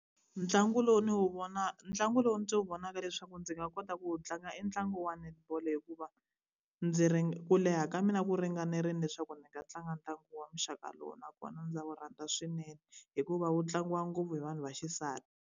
Ntlangu lowu ni wu ntlangu lowu ndzi wu vonaka leswaku ndzi nga kota ku wu tlanga i ntlangu wa netball hikuva ndzi ku leha ka mina ku ringanerile leswaku ndzi nga tlanga ntlangu wa muxaka lowu nakona ndza wu rhandza swinene, hikuva wu tlangiwa ngopfu hi vanhu va xisati.